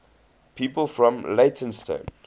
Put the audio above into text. people from leytonstone